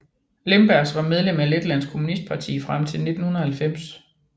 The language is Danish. Lembergs var medlem af Letlands Kommunistparti frem til 1990